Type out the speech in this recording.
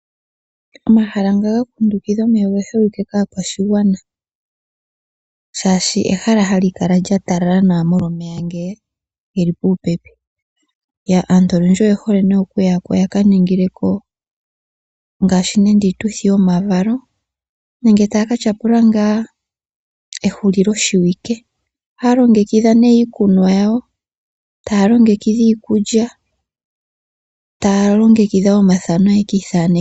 Omahala nga ga kundukidha omeya oge holike kaakwashigwana, oshoka ehala hali kala lya talala nawa molwa omeya ngoka ge li puupepi. Aantu oyendji oye hole okuya ko ya ka ningile ko iituthi yomavalo nenge taya ka tyapula ehulilowike. Ohaya longekidha iikunwa yawo taya longekidha iikulya, taya longekidha wo omathano ye ki ithaneke.